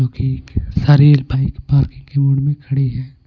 जो कि सारी बाइक पार्किंग के मूड में खड़ी है.